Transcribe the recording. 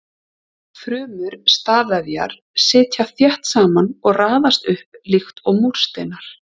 Frumur stafvefjar sitja þétt saman og raðast upp líkt og múrsteinar.